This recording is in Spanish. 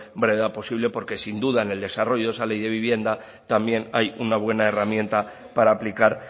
brevedad posible porque sin duda en el desarrollo esa ley de vivienda también hay una buena herramienta para aplicar